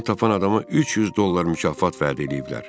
Onu tapan adama 300 dollar mükafat vəd eləyiblər.